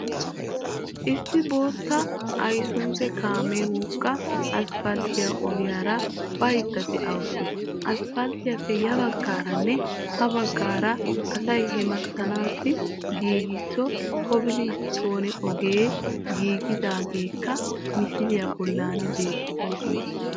Issi bootta aysuuzi kaamiya wogga asppalttiya ogiyara baydda de"awusu. Asppalttiyappe yabaggaaranne ha baggaara asay hamettanawu giigisa kobilisttoone ogeti giigidaageetikka misiliya bolli beettoosona